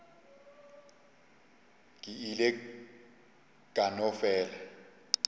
ke ile ka no fela